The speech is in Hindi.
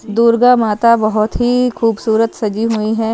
दुर्गा माता बहोत ही खूबसूरत सजी हुई है।